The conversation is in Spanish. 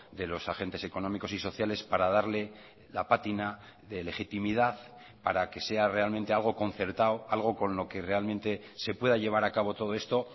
de los agentes económicos y sociales para darle la pátina de legitimidad para que sea realmente algo concertado algo con lo que realmente se pueda llevar a cabo todo esto